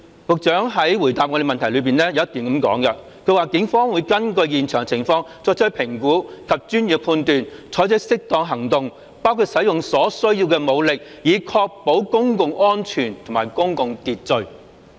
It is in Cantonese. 局長的答覆有一段提及："警方會根據現場情況作出評估及專業判斷，採取適當行動，包括使用所需要的武力，以確保公共安全和公共秩序。